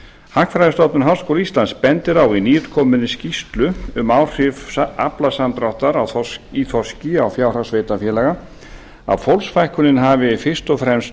hagfræðistofnun háskóla íslands bendir á í nýútkominni skýrslu um áhrif aflasamdráttar í þorski á fjárhag sveitarfélaga að fólksfækkunin hafi fyrst og fremst